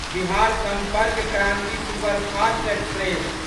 Bihar Sampark Kranti superfast express